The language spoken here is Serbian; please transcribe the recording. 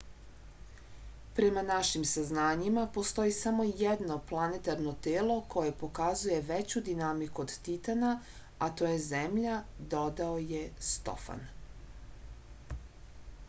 prema našim saznanjima postoji samo jedno planetarno telo koje pokazuje veću dinamiku od titana a to je zemlja dodao je stofan